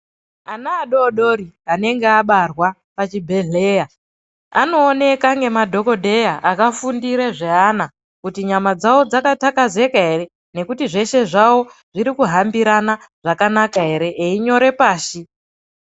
Ana adodori anenge abarwa pachibhedhleya anooneka nemadhogodheya akafundire zveana kuti nyamadzavo dzakatakazeka ere. Nekuti zveshe zvavo zzirikuhambirana zvakanaka ere einyore pashi.